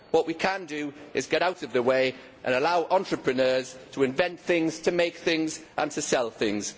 What we can do is get out of the way and allow entrepreneurs to invent things, to make things and to sell things.